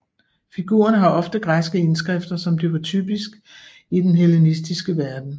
Figurerne har ofte græske indskrifter som det var typisk i den hellenistiske verden